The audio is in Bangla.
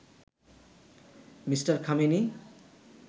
মি. খামেনি